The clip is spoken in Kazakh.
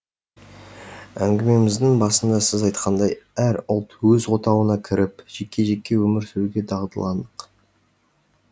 әңгімеміздің басында сіз айтқандай әр ұлт өз отауына кіріп жеке жеке өмір сүруге дағдыландық